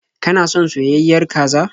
Kana son soyayyiyar kaza?